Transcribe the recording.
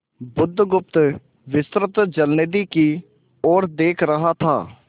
बुधगुप्त विस्तृत जलनिधि की ओर देख रहा था